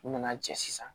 U nana cɛ sisan